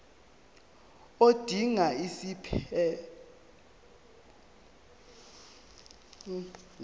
odinga isiphesphelo angenza